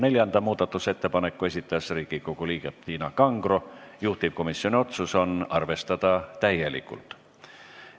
Neljanda muudatusettepaneku on esitanud Riigikogu liige Tiina Kangro, juhtivkomisjoni otsus on arvestada täielikult.